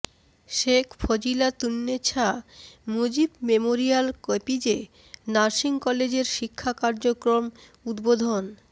Sheikh Fazilatunnesa Mujib memorial KPJ nursing কলেজের শিক্ষা কার্যক্রম উদ্বোধন